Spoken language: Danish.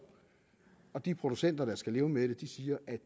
og de producenter der skal leve med det siger at